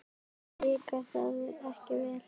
Þér líkaði það ekki vel.